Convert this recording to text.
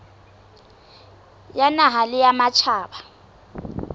ya naha le ya matjhaba